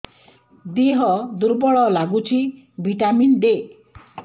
ଦିହ ଦୁର୍ବଳ ଲାଗୁଛି ଭିଟାମିନ ଦେ